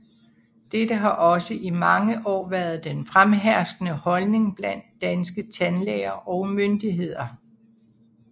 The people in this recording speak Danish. Dette har også i mange år været den fremherskende holdning blandt danske tandlæger og myndigheder